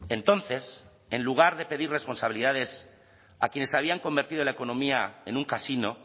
entonces en lugar de pedir responsabilidades a quienes habían convertido la economía en un casino